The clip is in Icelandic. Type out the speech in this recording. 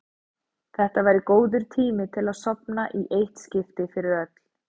Þetta væri góður tími til að sofna í eitt skipti fyrir öll.